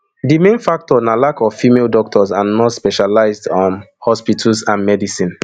di main factor na lack of female doctors and nurse specialised um hospitals and medicine